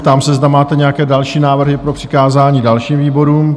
Ptám se, zda máte nějaké další návrhy pro přikázání dalším výborům?